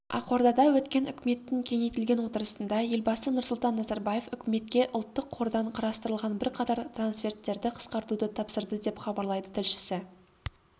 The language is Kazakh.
ақордада өткен үкіметтің кеңейтілген отырысында елбасы нұрсұлтан назарбаев үкіметке ұлттық қордан қарастырылған бірқатар трансферттерді қысқартуды тапсырды деп хабарлайды тілшісі